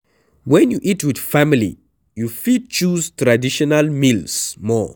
When you eat with family, you fit choose traditional meals more